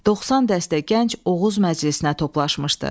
90 dəstə gənc Oğuz məclisinə toplaşmışdı.